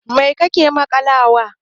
Mai kake maƙalawa wa?